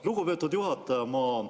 Lugupeetud juhataja!